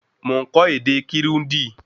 Mo n kọ́ ède Kirundi